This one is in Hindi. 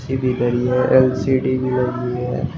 धरी है। एल_सी_डी भी लगी है।